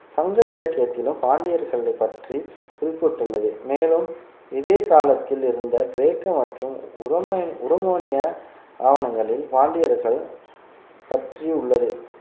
சங்க இலக்கியத்திலும் பாண்டியர்களை பற்றி குறிப்பிட்டுள்ளது மேலும் இதே காலத்தில் இருந்த கிரேக்க மற்றும் உரோம~ உரோமானிய ஆவணங்களில் பாண்டியர்கள் பற்றியுள்ளது